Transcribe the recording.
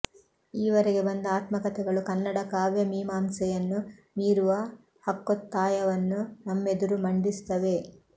ಈವರೆಗೆ ಬಂದ ಆತ್ಮಕತೆಗಳು ಕನ್ನಡ ಕಾವ್ಯಮೀಮಾಂಸೆಯನ್ನು ಮೀರುವ ಹಕ್ಕೊತ್ತಾಯವನ್ನು ನಮ್ಮೆದುರು ಮಂಡಿಸುತ್ತವೆ